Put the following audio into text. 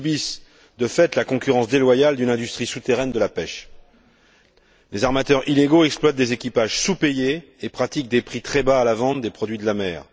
Ils subissent de fait la concurrence déloyale d'une industrie souterraine de la pêche. Les armateurs illégaux exploitent des équipages sous payés et pratiquent des prix très bas à la vente des produits de la mer.